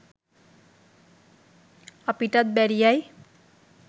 අපිටත් බැරියයි